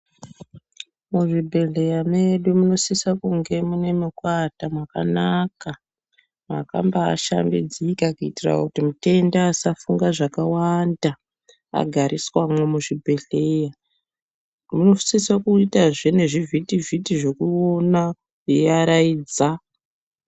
Muzvibhehleya medu munosisa kunge mune mweekuata mwakanaka mwakambaashambidzika kuitira kuti mutenda asafunga zvakawanda agariswamwo muzvibhehleya. Munosise kuitazve nezvivhitivhiti zvekuona eiaraidza.